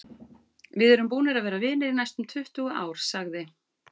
Við erum búnir að vera vinir í næstum tuttugu ár, sagði